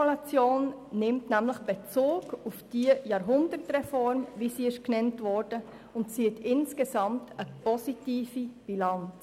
Die Evaluation nimmt Bezug auf die Jahrhundertreform und zieht insgesamt eine positive Bilanz.